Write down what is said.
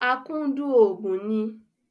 Akúndùn òògùn ni